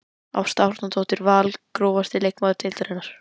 Ásta Árnadóttir Val Grófasti leikmaður deildarinnar?